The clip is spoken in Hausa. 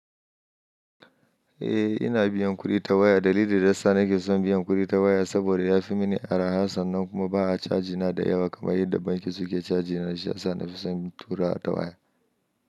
Eh ina biyan kuɗi ta waya. Dalilin da sa ni ke son biyan kuɗi ta waya saboda yafi mini araha sannan kuma ba a cajina da yawa kamar yadda banki suke cajina. Shiyasa nafi son tura ta waya.